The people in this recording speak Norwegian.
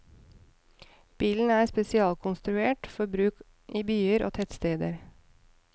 Bilen er spesialkonstruert for bruk i byer og tettsteder.